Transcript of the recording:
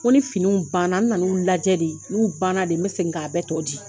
Ko ni fini banna n nan'u lajɛ de n'u banna de n bɛ segin k' a bɛɛ tɔ di